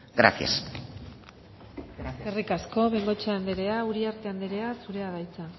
gracias eskerrik asko bengoechea andrea uriarte andrea zurea da hitza